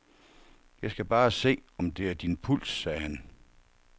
Jeg skal bare se, om det er din puls, sagde han.